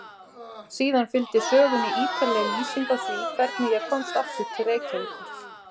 Síðan fylgdi sögunni ítarleg lýsing á því hvernig ég komst aftur til Reykjavíkur.